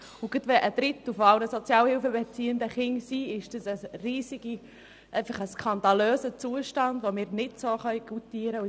Gerade weil ein Drittel aller Sozialhilfebeziehenden Kinder sind, ist das eigentlich ein skandalöser Zustand, den wir so nicht goutieren können.